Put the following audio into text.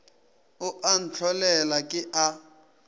o a ntlholela ke a